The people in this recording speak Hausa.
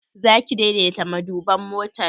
Zaki daidaita maduban motar?